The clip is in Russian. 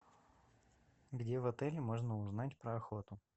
где в отеле можно узнать про охоту